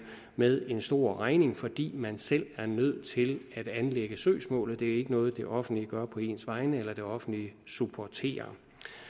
med en stor regning fordi man selv er nødt til at anlægge søgsmålet det er ikke noget det offentlige gør på ens vegne eller det offentlige supporterer